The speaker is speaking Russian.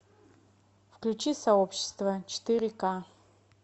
включи сообщество четыре ка